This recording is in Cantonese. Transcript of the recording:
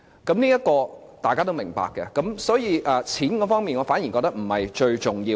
這方面大家都是明白的，因此在錢方面，我反而認為不是最重要。